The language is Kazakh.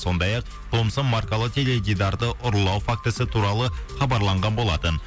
сондай ақ томсон маркалы теледидарды ұрлау фактісі туралы хабарланған болатын